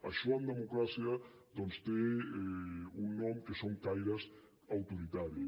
això en democràcia doncs té un nom que són caires autoritaris